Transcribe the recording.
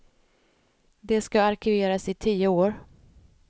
De ska arkiveras i tio år.